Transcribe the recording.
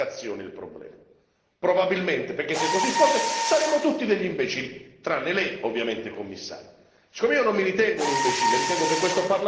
Allora probabilmente non è solo un difetto di comunicazione, il problema probabilmente, perché se così fosse saremmo tutti degli imbecilli, tranne lei ovviamente Commissario.